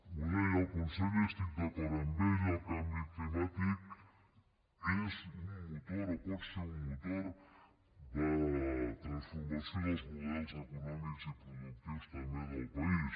ho deia el conseller i hi estic d’acord el canvi climàtic és un motor o pot ser un motor de transformació dels models econòmics i productius també del país